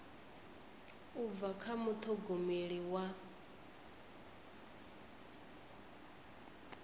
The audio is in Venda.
u bva kha muṱhogomeli wa